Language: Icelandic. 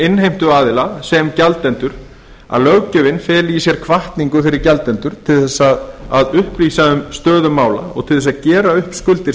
innheimtuaðila sem gjaldenda að löggjöfin feli í sér hvatningu fyrir gjaldendur til þess að upplýsa um stöðu mála og til þess að gera upp skuldir